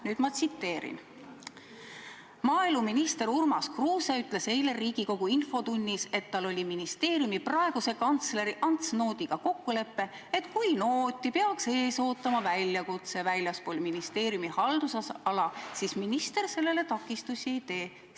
Nüüd ma tsiteerin: "Maaeluminister Urmas Kruuse ütles eile riigikogu infotunnis, et tal oli ministeeriumi praeguse kantsleri Ants Noodiga kokkulepe, et kui Nooti peaks ees ootama väljakutse väljaspool ministeeriumi haldusala, siis minister sellele takistusi ei tee.